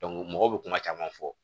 mɔgɔw bɛ kuma caman fɔ